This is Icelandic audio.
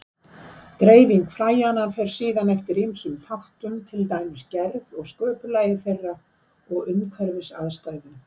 Dreifing fræjanna fer síðan eftir ýmsum þáttum, til dæmis gerð og sköpulagi þeirra og umhverfisaðstæðum.